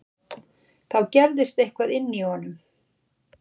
Þá gerðist eitthvað inní honum.